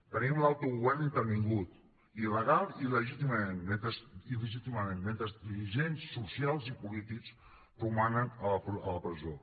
tenim l’autogovern intervingut il·legal i il·legítimament mentre dirigents socials i polítics romanen a la presó